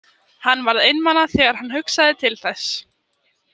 Hann varð einmana þegar hann hugsaði til þess.